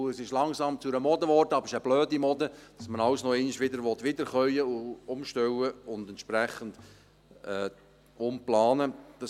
Es ist zur Mode geworden, aber es eine blöde Mode, alles nochmals wiederkäuen, umstellen und entsprechend umplanen zu wollen.